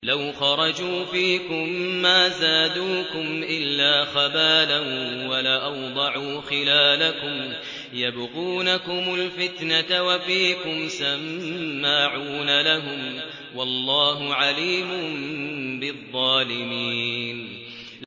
لَوْ خَرَجُوا فِيكُم مَّا زَادُوكُمْ إِلَّا خَبَالًا وَلَأَوْضَعُوا خِلَالَكُمْ يَبْغُونَكُمُ الْفِتْنَةَ وَفِيكُمْ سَمَّاعُونَ لَهُمْ ۗ وَاللَّهُ عَلِيمٌ بِالظَّالِمِينَ